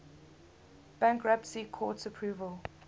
bankruptcy court's approval